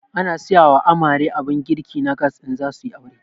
Ana siyawa amare abun girki na gas in zasuyi aure